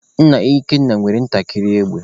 Nna Ikenna nwere ntakịrị égbè